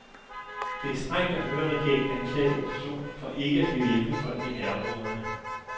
Det er strengt at høre regeringen anklage oppositionen for ikke at ville hjælpe folk i nærområderne.